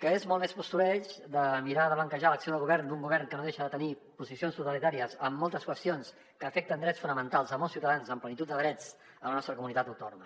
que és molt més postureig de mirar de blanquejar l’acció de govern d’un govern que no deixa de tenir posicions totalitàries en moltes qüestions que afecten drets fonamentals de molts ciutadans amb plenitud de drets a la nostra comunitat autònoma